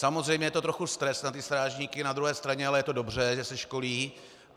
Samozřejmě je to trochu stres na ty strážníky, na druhé straně ale je to dobře, že se školí.